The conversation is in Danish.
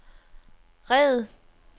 red